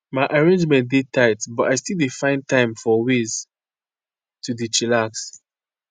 my arrangement dey tight but i still dey find time for ways to dey chillax.